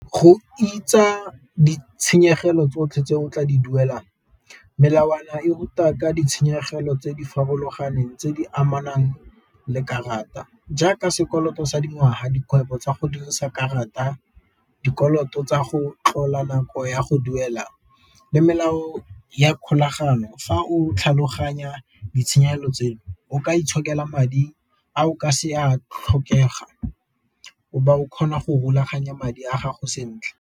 Go ditshenyegelo tsotlhe tse o tla di duelang melawana e ruta ka ditshenyegelo tse di farologaneng tse di amanang le karata, jaaka sekoloto sa dingwaga dikgwebo tsa go dirisa karata dikoloto tsa go tlola nako ya go duela le melao ya kgolagano fa o tlhaloganya ditshenyegelo tseno, o ka itshokela madi a o ka se a tlhokega o be o kgona go rulaganya madi a gago sentle.